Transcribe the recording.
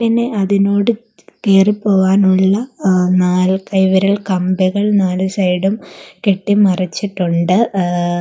ന് അതിനോട് കേറി പോവാനുള്ള ഏഹ് നാൽകൈവരികൾ കമ്പികൾ നാലു സൈഡും കെട്ടി മറിച്ചിട്ടുണ്ട് ഏഹ്.